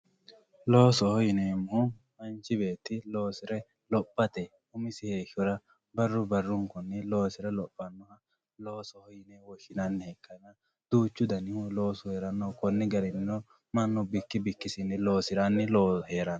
Loosoho yinemohu manchi beeti loosire lophate umisi heeshora baru barunkuni loosire lophanoha loosoho yine woahinani ikana duuchu danihu loosu heerano kuni garinino manu biki bikisini loosirani heerano.